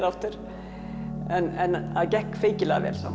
aftur en það gekk feykilega vel samt